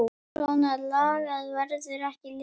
Svona lagað verður ekki liðið.